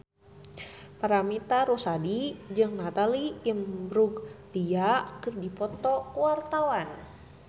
Paramitha Rusady jeung Natalie Imbruglia keur dipoto ku wartawan